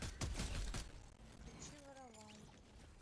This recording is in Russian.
включи воровайки